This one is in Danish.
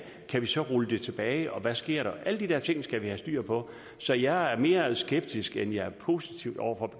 kan vi så rulle det tilbage og hvad sker der alle de der ting skal vi have styr på så jeg er mere skeptisk end jeg er positiv over for